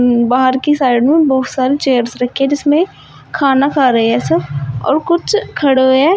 बाहर की साइड में बहुत सारे चेयर्स रखे है जिसमे खाना खा रहे है सब और कुछ खड़े हुए है।